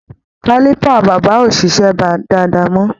Caliper bàbá ò ṣiṣẹ́ dáadáa mọ́.